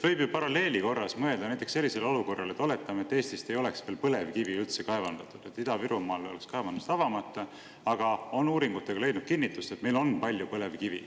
Võib ju paralleelina mõelda näiteks sellisele olukorrale: oletame, et Eestist ei ole põlevkivi veel üldse kaevandatud ja Ida-Virumaal oleksid kaevandused avamata, aga uuringutega on leidnud kinnitust, et meil on palju põlevkivi.